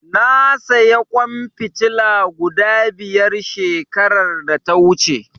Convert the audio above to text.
Na sayi ƙwan fitila guda biyar shekarar da ta wuce.